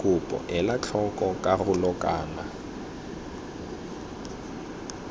kopo ela tlhoko karolo kana